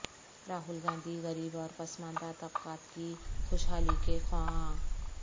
راہول گاندھی غریب اور پسماندہ طبقات کی خوشحالی کے خواہاں